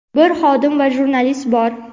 bir xodim va jurnalist bor.